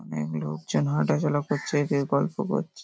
অনেক লোকজন হাঁটা চলা করছে কেউ গল্প করছে।